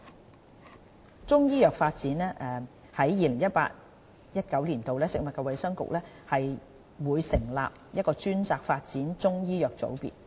就中醫藥發展方面，在 2018-2019 年度，食物及衞生局會成立專責發展中醫藥的組別。